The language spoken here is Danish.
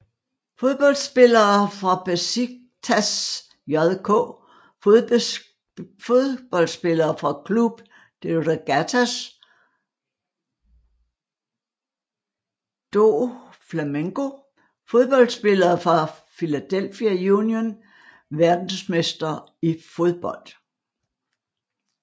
Fodboldspillere fra Beşiktaş JK Fodboldspillere fra Clube de Regatas do Flamengo Fodboldspillere fra Philadelphia Union Verdensmestre i fodbold